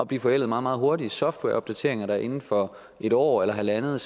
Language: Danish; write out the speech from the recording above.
blive forældet meget meget hurtigt softwareopdateringer der inden for et år eller halvandet